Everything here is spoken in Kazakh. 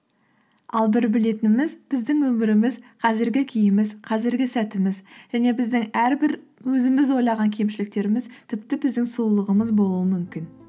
ал бір білетініміз біздің өміріміз қазіргі күйіміз қазіргі сәтіміз және біздің әрбір өзіміз ойлаған кемшіліктеріміз тіпті біздің сұлулығымыз болуы мүмкін